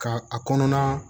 Ka a kɔnɔna